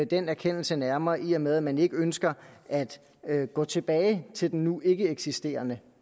den erkendelse nærmere i og med at man ikke ønsker at gå tilbage til den nu ikkeeksisterende